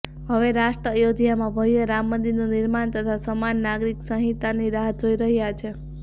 હવે રાષ્ટ્ર અયોધ્યામાં ભવ્ય રામ મંદિરનું નિર્માણ તથા સમાન નાગરિક સંહિતાની રાહ જોઇ રહ્યા છે